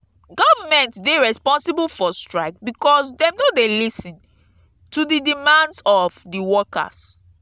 government dey responsible for strike because dem no dey lis ten to di demands of di workers.